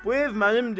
Bu ev mənimdir.